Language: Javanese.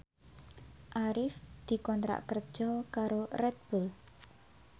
Arif dikontrak kerja karo Red Bull